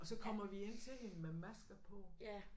Og så kommer vi ind til hende med masker på